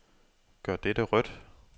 Gør dette rødt.